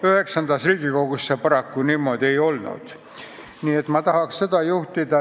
IX Riigikogus see paraku veel niimoodi ei olnud, nii et ma tahaks sellele tähelepanu juhtida.